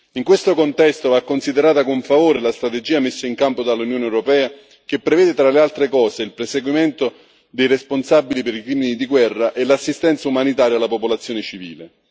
In questo contesto va considerata con favore la strategia messa in campo dall'Unione europea che prevede, tra le altre cose, il perseguimento dei responsabili per i crimini di guerra e l'assistenza umanitaria alla popolazione civile.